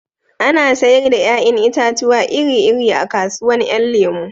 Ana sayar da 'ya'yan itatuwa iri iri a kasuwan 'yan lemo